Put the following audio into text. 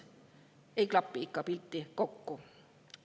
Ei klapi ikka pilt kokku.